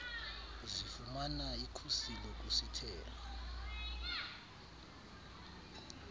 zifumana ikhusi lokusithela